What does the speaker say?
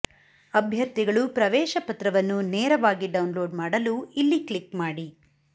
ಅಭ್ಯರ್ಥಿಗಳು ಪ್ರವೇಶ ಪತ್ರವನ್ನು ನೇರವಾಗಿ ಡೌನ್ಲೋಡ್ ಮಾಡಲು ಇಲ್ಲಿ ಕ್ಲಿಕ್ ಮಾಡಿ